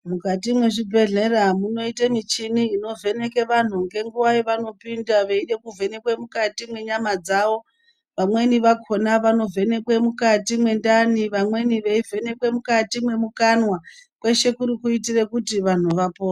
Mukati mezvibhedhlera munoite michini inovheneke vantu ngenguva yevanopinda veide kuvhenekwe mukati mwenyama dzavo, vamweni vakhona vanovhenekwe mukati mwendani, vamweni veivhenekwe mukati mwemukanwa, kweshe kuri kuitire kuti vantu vapo...